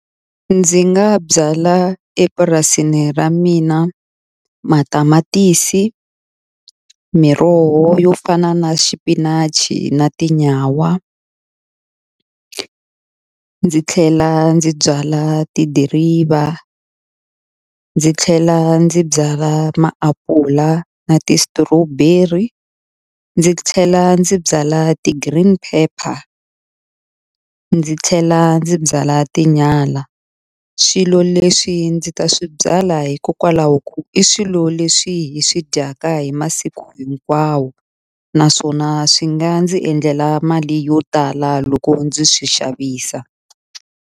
Ndzi nga byala epurasini ra mina matamatisi, miroho yo fana na xipinachi na tinyawa ndzi tlhela ndzi byala tidiriva ndzi tlhela ndzi byala maapula na ti-strawberry ndzi tlhela ndzi byala ti-green pepper ndzi tlhela ndzi byala tinyala swilo leswi ndzi ta swi byala hikokwalaho ko i swilo leswi hi swi dyaka hi masiku hinkwawo naswona swi nga ndzi endlela mali yo tala loko ndzi swi xavisa.